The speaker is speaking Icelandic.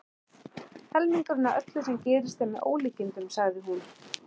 Helmingurinn af öllu sem gerist er með ólíkindum, sagði hún.